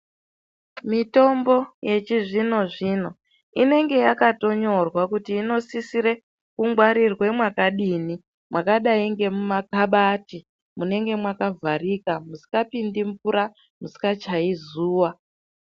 Mitombo yechizvino zvino inenge yakatonyorwa kuti inosisire kungwarirwe mwakadini mwakadai memumakabhati munenge makavharika musingapindi mvura musingachayi zuva.